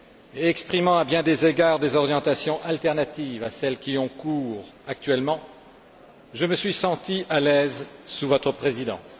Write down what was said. et exprimant à bien des égards des orientations alternatives à celles qui ont cours actuellement, je me suis senti à l'aise sous votre présidence.